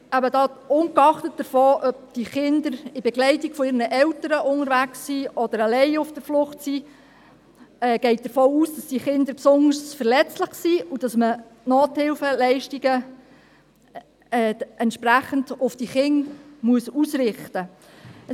Ungeachtet dessen, ob die Kinder in Begleitung ihrer Eltern unterwegs oder alleine auf der Flucht sind, geht die Kommissionsminderheit davon aus, dass diese Kinder besonders verletzlich sind und dass man die Nothilfeleistungen entsprechend auf die Kinder ausrichten muss.